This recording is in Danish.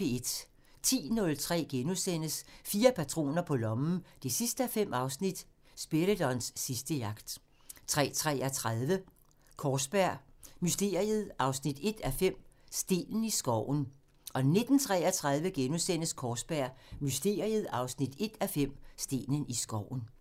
10:03: Fire patroner på lommen 5:5 – Spiridons sidste jagt * 13:33: Kaarsberg Mysteriet 1:5 – Stenen i skoven 19:33: Kaarsberg Mysteriet 1:5 – Stenen i skoven *